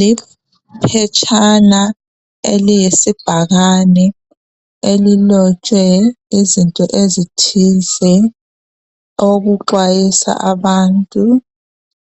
Liphetshana eliyisibhakane elilotshwe izinto ezithize okuxwayisa abantu